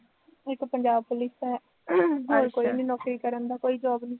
ਇੱਕ ਪੰਜਾਬ ਪੁਲਿਸ ਦਾ ਹੋਰ ਕੋਈ ਨਹੀਂ ਨੌਕਰੀ ਕਰਨ ਦਾ, ਕੋਈ ਸ਼ੌਂਕ ਨਹੀਂ